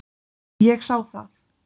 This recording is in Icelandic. Ég sá það.